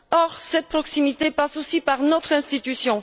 Or, cette proximité passe aussi par notre institution.